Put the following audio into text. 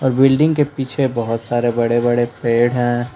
Building के पीछे बहुत सारे बड़े बड़े पेड़ हैं।